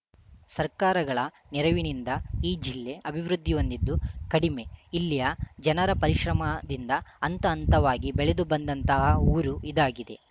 ಸರ್ಕಾರಗಳ ನೆರವಿನಿಂದ ಈ ಜಿಲ್ಲೆ ಅಭಿವೃದ್ಧಿ ಹೊಂದಿದ್ದು ಕಡಿಮೆ ಇಲ್ಲಿಯ ಜನರ ಪರಿಶ್ರಮದಿಂದ ಹಂತ ಹಂತವಾಗಿ ಬೆಳೆದು ಬಂದತಹ ಊರು ಇದಾಗಿದೆ